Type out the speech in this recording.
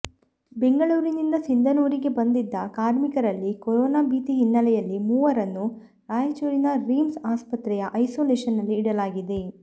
ಬೆಂಗಳೂರಿನಿಂದ ಸಿಂಧನೂರಿಗೆ ಬಂದಿದ್ದ ಕಾರ್ಮಿಕರಲ್ಲಿ ಕೊರೋನಾ ಭೀತಿ ಹಿನ್ನಲೆಯಲ್ಲಿ ಮೂವರನ್ನು ರಾಯಚೂರಿನ ರಿಮ್ಸ್ ಆಸ್ಪತ್ರೆಯ ಐಸೋಲೇಶನಲ್ಲಿ ಇಡಲಾಗಿದೆ